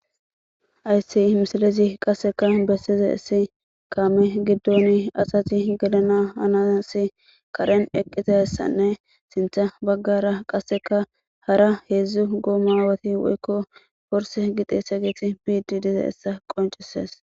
Hayssi misilezi qasseka bessizayssi kaame giidon asati gellanas haniyasi eqqidayssanne sinththa baggara qasseka haara hezdzdu gommageti woykko borse gi xessiyaget bettidi diizayssa qonccises.